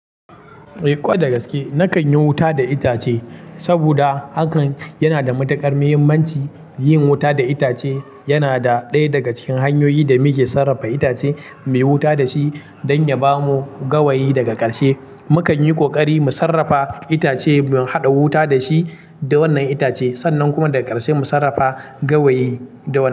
Eh, ko da gaske na kan yi wuta da itace saboda hakan yana da matuƙar muhimmanci. Yin wuta da itace yana da ɗaya daga cikin hanyoyin da muke sarrafa itace mu yi wuta da shi don ya ba mu gawayi daga ƙarshe. Mukan yi ƙoƙari mu sarrafa itace, mu haɗa wuta da shi da wannan itace sannan kuma daga ƙarshe mu sarrafa gawayi da wannan.